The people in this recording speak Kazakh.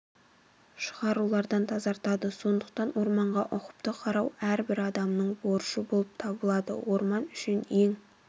шығарулардан тазартады сондықтан орманға ұқыпты қарау әр бір адамның борышы болып табылады орман үшін ең